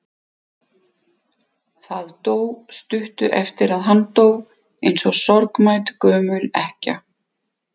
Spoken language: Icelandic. Það dó stuttu eftir að hann dó, eins og sorgmædd gömul ekkja.